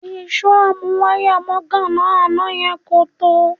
Ìṣó amúwáyàmọ́gàná àná yẹn kò tó